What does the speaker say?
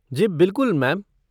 जी बिलकुल मैम।